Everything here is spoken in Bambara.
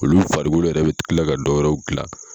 Olu faribolo yɛrɛ bɛ tila ka dɔwɛrɛw dilan.